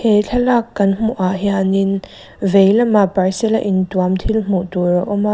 he thlalâk kan hmuhah hianin vei lamah parcel a intuam thil hmuh tûr a awm a.